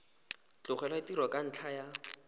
tlogela tiro ka ntlha ya